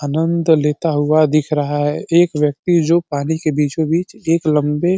आनंद लेता हुआ दिख रहा है एक व्यक्ति जो पानी के बीचो बीच एक लंबे --